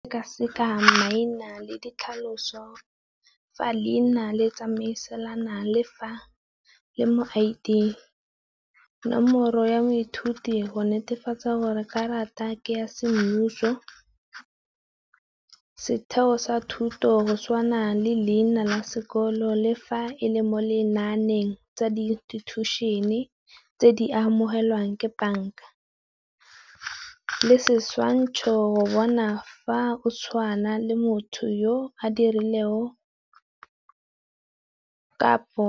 Sekaseka maina le ditlhaloso fa leina le tsamaisana le mo I_D. Nomoro ya moithuti go netefatsa gore karata ke ya semmuso, setheo sa thuto go tshwana le leina la sekolo le fa e le mo lenaaneng tsa di institution-e tse di amogelwang ke bank-a. Le setshwantsho go bona fa o tshwana le motho yo a dirilego kapo